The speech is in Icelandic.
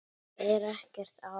Það er ekkert að því.